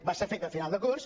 va ser feta a final de curs